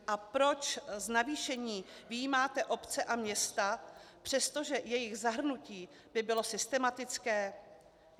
A proč z navýšení vyjímáte obce a města, přestože jejich zahrnutí by bylo systematické?